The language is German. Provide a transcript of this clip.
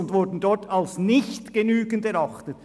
Dort wurden sie als nicht genügend erachtet.